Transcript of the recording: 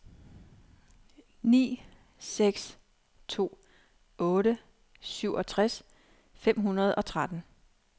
ni seks to otte syvogtres fem hundrede og tretten